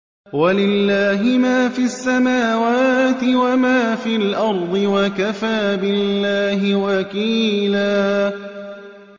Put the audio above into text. وَلِلَّهِ مَا فِي السَّمَاوَاتِ وَمَا فِي الْأَرْضِ ۚ وَكَفَىٰ بِاللَّهِ وَكِيلًا